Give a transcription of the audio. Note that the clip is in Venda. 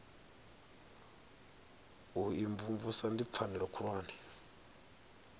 u imvumvusa ndi pfanelo khulwane